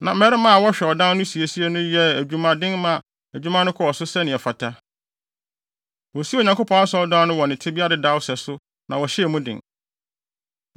Na mmarima a wɔhwɛ ɔdan no siesie so no yɛɛ adwumaden maa adwuma no kɔɔ so sɛnea ɛfata. Wosii Onyankopɔn Asɔredan no wɔ ne tebea dedaw no sɛso na wɔhyɛɛ mu den.